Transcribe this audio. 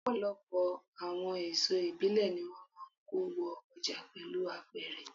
Ọ̀pọ̀lọpọ̀ àwọn èso ìbílẹ̀ ni wón máa ń kó wo ọjà pẹ̀lú apẹ̀rẹ̀.